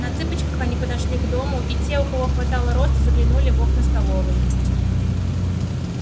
на цыпочках они подошли к дому и те у кого хватало роста заглянули в окна столовой